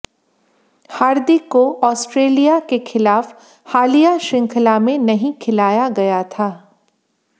हार्दिक को ऑस्ट्रेलिया के खिलाफ हालिया श्रृंखला में नहीं खिलाया गया था